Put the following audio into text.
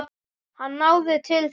Hann náði til allra.